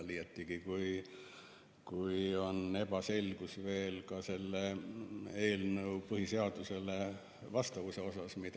Liiatigi kui on ebaselgus veel selles, kas see eelnõu on üldse põhiseadusega vastavuses.